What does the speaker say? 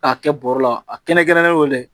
K'a kɛ bɔrɔ la a kɛrɛnkɛrɛnnen dɔ l